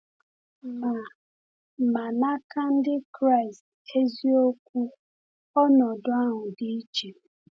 Ma Ma n’aka Ndị Kraịst eziokwu, ọnọdụ ahụ dị iche.